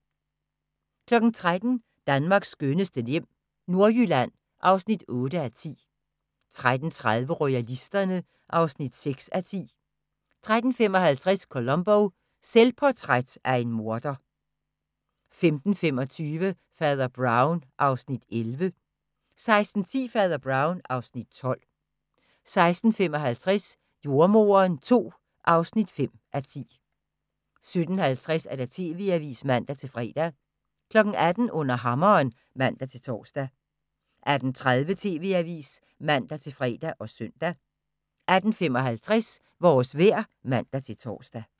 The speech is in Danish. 13:00: Danmarks skønneste hjem - Nordjylland (8:10) 13:30: Royalisterne (6:10) 13:55: Columbo: Selvportræt af en morder 15:25: Fader Brown (Afs. 11) 16:10: Fader Brown (Afs. 12) 16:55: Jordemoderen II (5:10) 17:50: TV-avisen (man-fre) 18:00: Under hammeren (man-tor) 18:30: TV-avisen (man-fre og søn) 18:55: Vores vejr (man-tor)